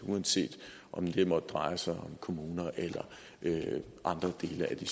uanset om det måtte dreje sig om kommuner eller andre dele af de